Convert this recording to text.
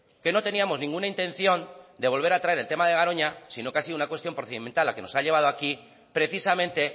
que no teníamos ninguna intención de volver a traer el tema de garoña sino que ha sido una cuestión procedimental a lo que nos ha llevado aquí precisamente